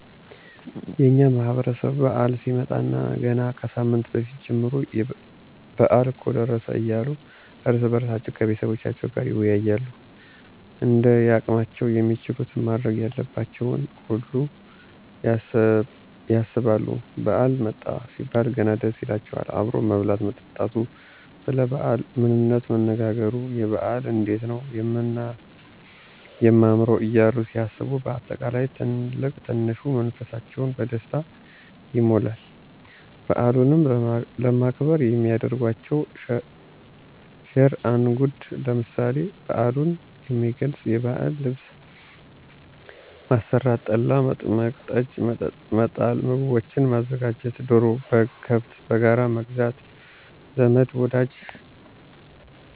የእኛ ማህበረሰብ በዓል ሲመጣለት ገና ከሳምንት በፊት ጀምሮ በአል እኮ ደረሰ እያሉ እርስ በእርሳቸዉ ከቤተሰቦቻቸዉም ጋር ይወያያሉ እንደያቅማቸዉም የሚችሉትን ማድረግ ያለባቸውን ሁሉ ያሰባሉ ባዓል መጣ ሲባል ገና ደስ ይላቸዋል አብሮ መብላት መጠጣቱ፣ ሰለ ባዓሉ ምንነት መነጋገሩ፣ የበዓል እንዴት ነዉ የማምረዉ እያሉ ሲያስቡ በአጠቃላይ ትልቅ ትንሹ መንፈሳቸዉ በደስታ ይሞላል። በዓሉንም ለማክበር የሚያደርጓቸዉ ሽር እንጉድ ለምሳሌ፦ በዓሉን የሚገልፅ የባዕል ልብስ ማሰራት፣ ጠላ፣ መጥመቅ፣ ጠጅ፣ መጣል፣ ምግቦችን ማዘጋጀት፣ ዶሮ፣ በግ፣ ከብት በጋራ መግዛት ዘመድ ወዳጁን